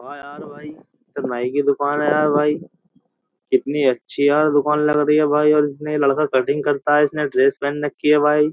नाई की दुकान है यार भाई कितनी अच्छी यार दुकान लग रही है भाई और इस लड़का कटिंग करता है इसने ड्रेस पहन रखी है भाई --